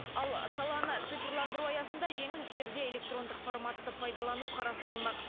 ал саланы цифрландыру аясында жеңіл істерде электрондық форматты пайдалану қарастырылмақ